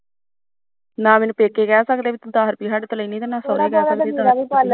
ਨਾ ਮੈਨੂੰ ਪੇਕੇ ਕਹਿ ਸਕਦੇ ਤੂੰ ਦਸ ਰੁਪਏ ਸਾਡੇ ਤੋਂ ਨਾ ਸਹੁਰੇ ਕਹਿ ਸਕਦੇ